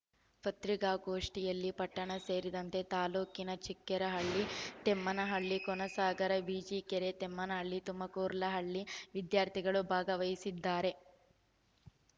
ಪತ್ರಿಕಾಗೋಷ್ಟಿಯಲ್ಲಿ ಪಟ್ಟಣ ಸೇರಿದಂತೆ ತಾಲೂಕಿನ ಚಿಕ್ಕೇರಹಳ್ಳಿ ತಮ್ಮೇನಹಳ್ಳಿ ಕೋನಸಾಗರ ಬಿಜಿಕೆರೆ ತಮ್ಮೇನಹಳ್ಳಿ ತುಮಕೂರ್ಲಹಳ್ಳಿ ವಿದ್ಯಾರ್ಥಿಗಳು ಭಾಗವಹಿಸಿದ್ದರು